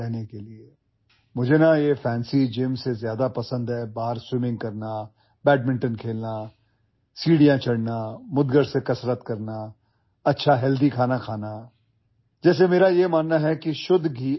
মই বাহিৰত সাঁতুৰিবলৈ বেডমিণ্টন খেলা চিৰি বগাই যোৱা ডাম্বলৰ সৈতে ব্যায়াম কৰা স্বাস্থ্যকৰ খাদ্য খোৱা আড়ম্বৰপূৰ্ণ জিমতকৈ বেছি পছন্দ কৰো